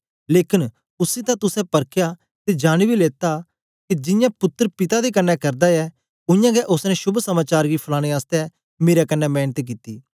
लेकन उसी तां तुसें परखया ते जानी बी लेता ऐ के जियां पुत्तर पिता दे कन्ने करदा ऐ उयांगै ओसने शोभ समाचार गी फलाने आसतै मेरे कन्ने मेंनत कित्ती